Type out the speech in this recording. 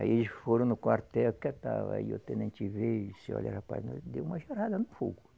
Aí eles foram no quartel, que estava aí o tenente veio, disse olha, rapaz, nós deu uma jarada no fogo.